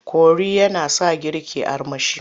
Kori yana sa girki armashi.